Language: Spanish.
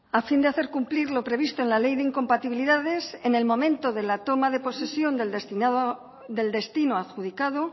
a fin de hacer cumplir lo previsto en la ley de incompatibilidades en el momento de la toma de posesión del destinado del destino adjudicado